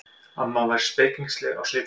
Amma var spekingsleg á svipinn.